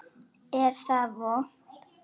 Er það vont?